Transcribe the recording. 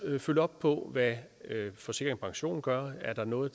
følge op på hvad forsikring pension gør og er der noget